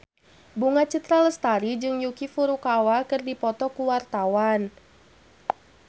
Bunga Citra Lestari jeung Yuki Furukawa keur dipoto ku wartawan